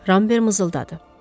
Rambert mızıldadı.